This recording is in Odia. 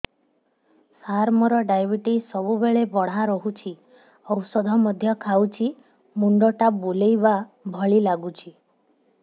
ସାର ମୋର ଡାଏବେଟିସ ସବୁବେଳ ବଢ଼ା ରହୁଛି ଔଷଧ ମଧ୍ୟ ଖାଉଛି ମୁଣ୍ଡ ଟା ବୁଲାଇବା ଭଳି ଲାଗୁଛି